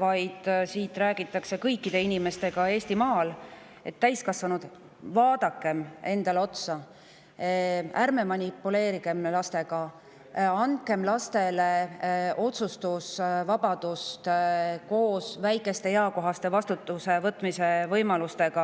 vaid siit räägitakse kõikide inimestega Eestimaal –, et täiskasvanud, vaadakem endale otsa, ärgem manipuleerigem lastega, vaid andkem neile otsustusvabadust koos väikeste, eakohaste vastutuse võtmise võimalustega.